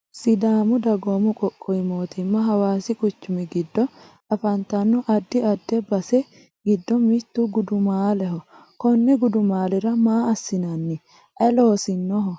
sidaamu dagoomu qoqqowi mootimma hawaasi quchumi giddo afantanno addi addi base giddo mittu gudumaaleho konni gudumaalira maa assinanni? aye loosinoho?